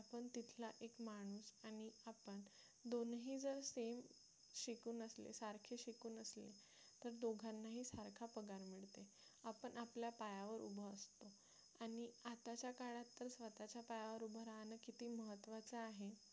दोन्ही जर same शिकून असले सारखे शिकून असले तर दोघांनाही सारखा पगार मिळते आपण आपल्या पायावर उभा असतो आणि आताच्या काळात तर स्वतःच्या पायावर उभे राहणं किती महत्त्वाचा आहे